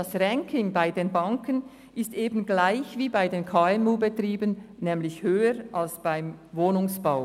Das Ranking bei den Banken ist gleich wie bei den KMU-Betrieben, nämlich höher als beim Wohnungsbau.